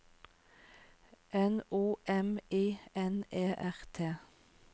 N O M I N E R T